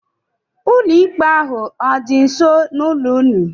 Ụlọ ikpe ahụ ọ dị nso n'ụlọ ụnụ?